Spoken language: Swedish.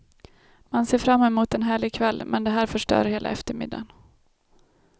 Man ser fram emot en härlig kväll, men det här förstör hela eftermiddagen.